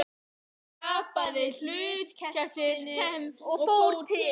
Ég tapaði hlutkestinu og fór til